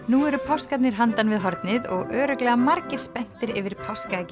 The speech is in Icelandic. nú eru páskarnir handan við hornið og örugglega margir spenntir yfir